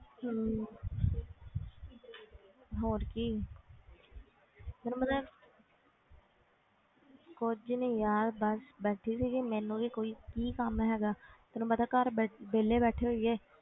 ਹਮ ਹੋਰ ਕੀ ਤੈਨੂੰ ਪਤਾ ਹੈ ਕੁੱਝ ਨੀ ਯਾਰ ਬਸ ਬੈਠੀ ਸੀਗੀ ਮੈਨੂੰ ਵੀ ਕੋਈ ਕੀ ਕੰਮ ਹੈਗਾ ਤੈਨੂੰ ਪਤਾ ਘਰ ਬੈ~ ਵਿਹਲੇ ਬੈਠੇ ਹੋਈਏ,